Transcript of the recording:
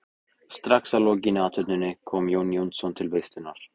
Strax að lokinni athöfninni kom Jón Jónsson til veislunnar.